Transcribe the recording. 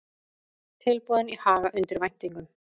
Tilboðin í Haga undir væntingum